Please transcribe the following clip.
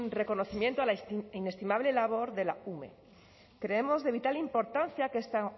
reconocimiento a la inestimable labor de la ume creemos de vital importancia que esta